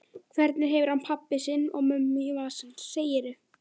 Hvernig hefur hann pabba sinn og mömmu í vasanum, segirðu?